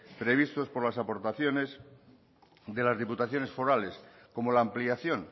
previstos por las aportaciones de las diputaciones forales como la ampliación